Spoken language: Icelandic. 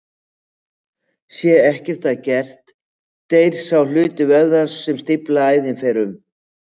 Sé ekkert að gert deyr sá hluti vöðvans sem stíflaða æðin sá um.